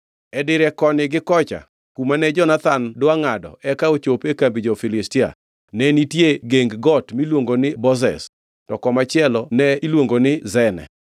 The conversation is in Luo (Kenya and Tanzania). E dire koni gi kocha kuma ne Jonathan dwa ngʼado eka ochop e kambi jo-Filistia ne nitie geng got miluongo ni Bozez, to komachielo ne iluongo ni Sene.